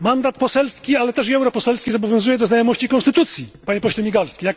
Mandat poselski, ale też i europoselski, zobowiązuje do znajomości konstytucji, Panie Pośle Migalski!